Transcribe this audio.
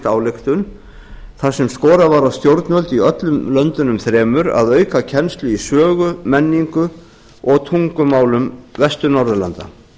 ályktun þar sem skorað var á stjórnvöld í öllum löndunum þremur að auka kennslu í sögu menningu og tungumálum vestur norðurlanda